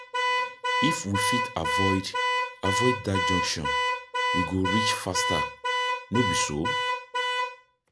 If we fit avoid avoid dat junction, we go reach faster, no be so?